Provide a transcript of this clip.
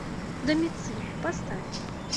домициль поставь